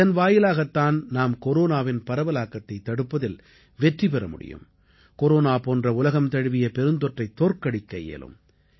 இதன் வாயிலாகத் தான் நாம் கொரோனாவின் பரவலாக்கத்தைத் தடுப்பதில் வெற்றி பெற முடியும் கொரோனா போன்ற உலகம் தழுவிய பெருந்தொற்றைத் தோற்கடிக்க இயலும்